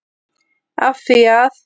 Af því að?